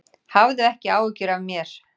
Hafðu ekki áhyggjur af mér.